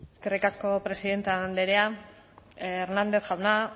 eskerrik asko presidente andrea hernández jauna